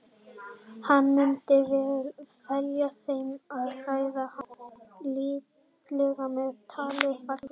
Hann myndi fela þeim að hræða hann lítillega með tali um fangelsi.